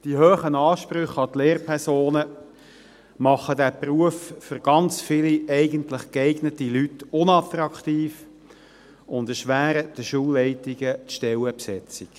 Die hohen Ansprüche an die Lehrpersonen machen diesen Beruf für ganz viele dieser eigentlich geeigneten Leute unattraktiv und erschweren den Schulleitungen die Stellenbesetzung.